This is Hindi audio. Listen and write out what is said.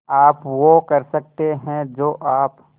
आप वो कर सकते हैं जो आप